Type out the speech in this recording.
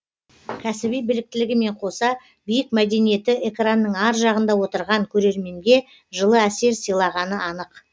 кәсіби біліктілігімен қоса биік мәдениеті экранның ар жағында отырған көрерменге жылы әсер сыйлағаны анық